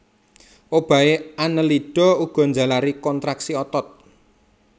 Obahé Annelida uga njalari kontraksi otot